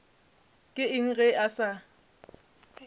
ke eng ge a sa